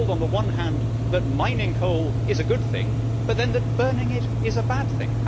We are told on the one hand that mining coal is a good thing, but then that burning it is a bad thing.